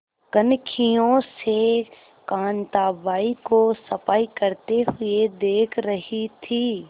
कनखियों से कांताबाई को सफाई करते हुए देख रही थी